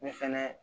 Ne fɛnɛ